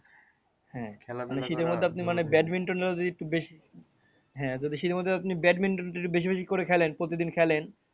হ্যাঁ একটু বেশি হ্যাঁ যদি শীতের মধ্যে আপনি badminton টা একটু বেশি বেশি করে খেলেন প্রতিদিন খেলেন।